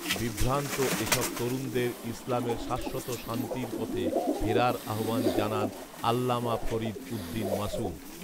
বিভ্রান্ত এসব তরুণদের ইসলামের শাশ্বত শান্তির পথে ফেরার আহ্বান জানান আল্লামা ফরিদ উদ্দীন মাসঊদ